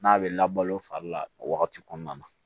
N'a bɛ labalo fari la o wagati kɔnɔna na